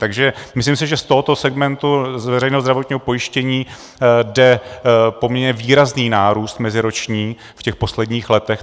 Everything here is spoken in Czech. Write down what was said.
Takže myslím si, že z tohoto segmentu z veřejného zdravotního pojištění jde poměrně výrazný nárůst meziroční v těch posledních letech.